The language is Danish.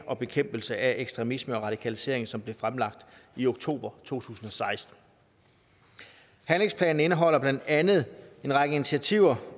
og bekæmpelse af ekstremisme og radikalisering som blev fremlagt i oktober to tusind og seksten handlingsplanen indeholder blandt andet en række initiativer